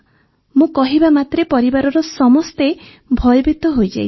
ମୁଁ କହିବା ମାତ୍ରେ ପରିବାରର ସମସ୍ତେ ଭୟଭୀତ ହୋଇଯାଇଥିଲେ